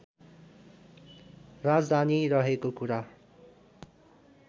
राजधानी रहेको कुरा